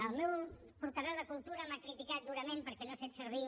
el meu portaveu de cultura m’ha criticat durament perquè no he fet servir